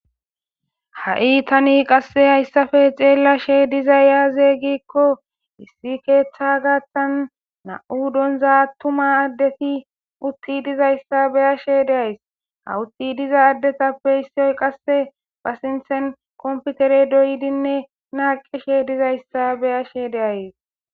Ha7i tani qasse hayssafe xeellashe diza yaaze giikko issi keeththa gaaththan na7u donza attuma addeti utti dizayssa beya she deays hawutti diza addetappe issioy qasse pasinthen komputere doydinne naaqishe dizayssa beya she deayes.